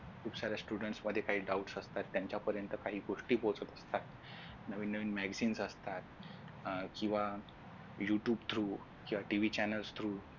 खूप साऱ्या students मध्ये काही doubts असतात त्यांच्यापर्यंत काही गोष्टी पोहचत असतात नवीन magazines असतात अह किंवा blutooth through